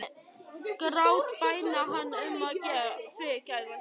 Hún myndi grátbæna hann um að fyrirgefa sér.